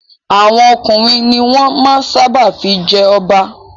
Àwọn ọkùnrin ni wọ́n máa ń sábà fi jẹ ọba.